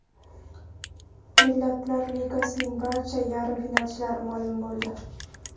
Millatlar Ligasining barcha yarim finalchilari ma’lum bo‘ldi.